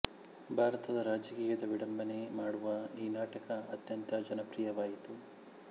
ಭಾರತದ ರಾಜಕೀಯದ ವಿಡಂಬನೆ ಮಾಡುವ ಈ ನಾಟಕ ಅತ್ಯಂತ ಜನಪ್ರಿಯವಾಯಿತು